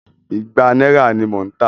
Ìgbà náírà ní mò ń tà á.